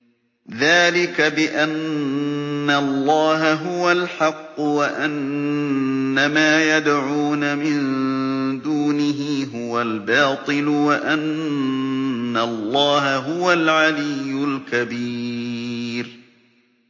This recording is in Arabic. ذَٰلِكَ بِأَنَّ اللَّهَ هُوَ الْحَقُّ وَأَنَّ مَا يَدْعُونَ مِن دُونِهِ هُوَ الْبَاطِلُ وَأَنَّ اللَّهَ هُوَ الْعَلِيُّ الْكَبِيرُ